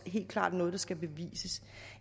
helt klart noget der skal bevises